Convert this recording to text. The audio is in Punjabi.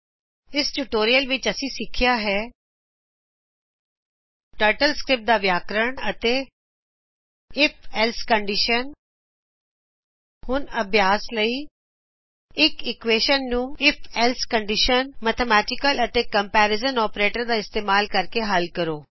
ਇਸ ਟਿਯੂਟੋਰਿਅਲ ਵਿਚ ਅਸੀ ਸਿੱਖੀਆ ਹੈ ਟਰਟਲ ਸਕ੍ਰਿਪਟ ਦਾ ਵਿਆਕਰਣ ਅਤੇ if ਏਲਸੇ ਕਨਡੀਸ਼ਨ ਹੁਣ ਅਭਿਆਸ ਲਈ ਇਕ ਇਕਵੇਸ਼ਨ ਨੂੰ ਆਈਐਫ - ਏਲਸੇ ਕਨਡੀਸ਼ਨ ਮੈਥਮੈਟਿਕਲ ਅਤੇ ਕੰਪੈਰੀਜ਼ਨ ਆਪਰੇਟਰਸ ਦਾ ਇਸਤਮਾਲ ਕਰ ਕੇ ਹੱਲ ਕਰੋ